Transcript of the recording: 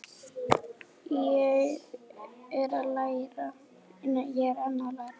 Ég er enn að læra.